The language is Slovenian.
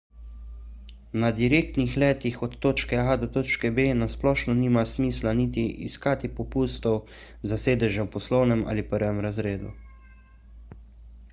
na direktnih letih od točke a do točke b na splošno nima smisla niti iskati popustov za sedeže v poslovnem ali prvem razredu